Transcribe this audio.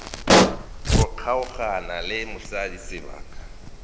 go kgaogana le mosadi sebaka